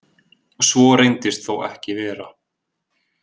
Svo reyndist þó ekki vera